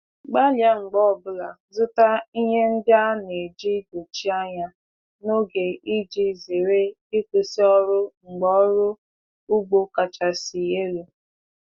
Gbalia mgbe ọbula zụta ihe ndị a na-eji dochie anya n'oge iji zere ịkwụsị ọrụ mgbe ọrụ ugbo kachasị elu.